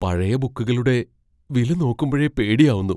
പഴയ ബുക്കുകളുടെ വില നോക്കുമ്പഴെ പേടിയാവുന്നു.